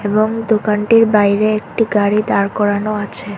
এবং দোকানটির বাইরে একটি গাড়ি দাঁড় করানো আছে।